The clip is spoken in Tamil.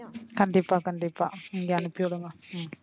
கண்டிப்பா கண்டிப்பா நீங்க அனுப்பி விடுங்க. ஹம்